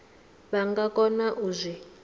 vha nga kona u zwi